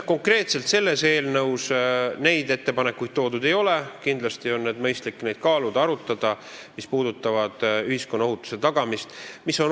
Konkreetselt selles eelnõus neid toodud ei ole, aga ma arvan, et on kindlasti mõistlik neid kaaluda, arutada ettepanekuid, mis puudutavad ühiskonna ohutuse tagamist.